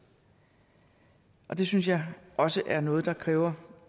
det synes jeg også er noget der kræver